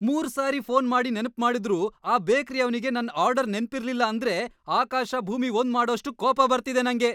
ಮೂರು ಸಾರಿ ಫೋನ್ ಮಾಡ್ ನೆನ್ಪ್‌ ಮಾಡಿದ್ರೂ‌ ಆ ಬೇಕ್ರಿಯವ್ನಿಗೆ ನನ್‌ ಆರ್ಡರ್‌ ನೆನ್ಪಿರ್ಲಿಲ್ಲ ಅಂದ್ರೆ ಆಕಾಶ ಭೂಮಿ ಒಂದ್‌ ಮಾಡೋಷ್ಟ್ ಕೋಪ ಬರ್ತಿದೆ ನಂಗೆ.